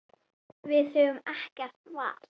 Við höfum ekkert val.